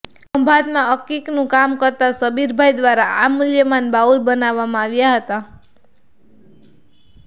ખંભાતમાં અકિકનું કામ કરતા શબીરભાઈ દ્વારા આ મૂલ્યવાન બાઉલ બનાવામાં આવ્યા હતા